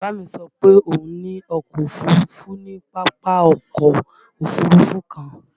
Bàbá mi sọ pé òun ní ọkọ Òfurufú ní Pápákọ̀ Òfurufú kan